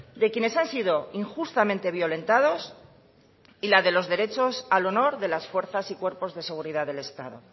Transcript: de quienes han sido injustamente violentados y la de los derechos al honor de las fuerzas y cuerpos de seguridad del estado